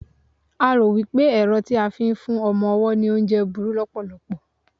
a ro wipe ẹrọ ti a fi n fún ọmọ ọwọ ni oúnje buru lopolopo